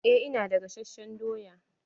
Eh ina da gasasshen doya.